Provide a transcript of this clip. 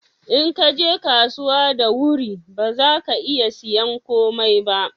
in ka je kasuwa da wuri ba za ka iya sayan komai ba